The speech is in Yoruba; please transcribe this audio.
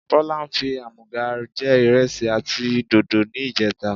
Bọlá fi àmúga jẹ ìrẹsì àti dòdò ni ìjẹta.